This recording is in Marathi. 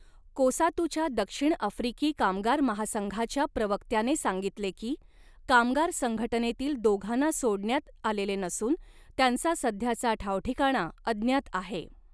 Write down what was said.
कोसातूच्या दक्षिण आफ्रिकी कामगार महासंघाच्या प्रवक्त्याने सांगितले की, कामगार संघटनेतील दोघांना सोडण्यात आलेले नसून त्यांचा सध्याचा ठावठिकाणा अज्ञात आहे.